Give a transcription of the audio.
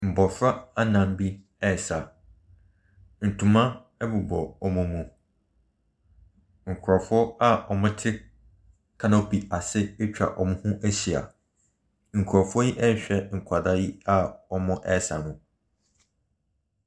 Mbofra anan bi resa. Ntoma ɛbobɔ wɔn mu. Nkrɔfoɔ a wɔte kanopi ase atwa wɔnho ahyia. Nkrɔfoɔ yi rehwɛ nkwaraa yi a wɔresa no.